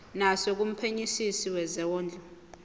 naso kumphenyisisi wezondlo